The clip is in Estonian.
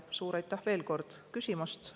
Suur aitäh, veel kord, küsimast!